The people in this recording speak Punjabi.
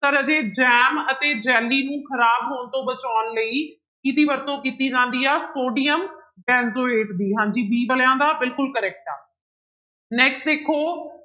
ਤਾਂ ਰਾਜੇ ਜੈਮ ਅਤੇ ਜੈਲੀ ਨੂੰ ਖ਼ਰਾਬ ਹੋਣ ਤੋਂ ਬਚਾਉਣ ਲਈ ਕਿਹਦੀ ਵਰਤੋਂ ਕੀਤੀ ਜਾਂਦੀ ਆ, ਸੋਡੀਅਮ ਬੈਨਜੋਏਟ ਦੀ ਹਾਂਜੀ b ਵਾਲਿਆਂ ਦਾ ਬਿਲਕੁਲ correct ਆ next ਦੇਖੋ